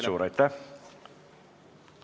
Suur aitäh!